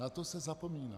Na to se zapomíná.